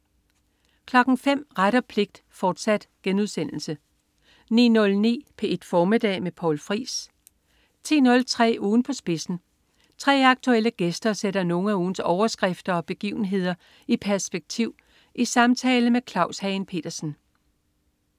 05.00 Ret og pligt, fortsat* 09.09 P1 Formiddag med Poul Friis 10.03 Ugen på spidsen. 3 aktuelle gæster sætter nogle af ugens overskrifter og begivenhederi perspektiv i samtale med Claus Hagen Petersen